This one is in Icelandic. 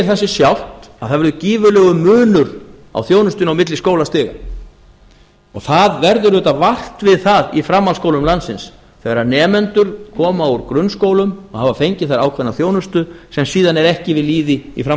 sig sjálft að það verður gífurlegur munur á þjónustunni á milli skólastiga og það verður auðvitað vart við það í framhaldsskólum landsins þegar nemendur koma úr grunnskólum og hafa fengið þar ákveðna þjónustu sem síðan er ekki við lýði í